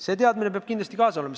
See teadmine peab kindlasti kaasa tulema.